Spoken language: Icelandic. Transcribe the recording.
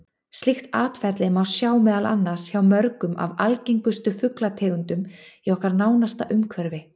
Slíkt atferli má sjá meðal annars hjá mörgum af algengustu fuglategundunum í okkar nánasta umhverfi.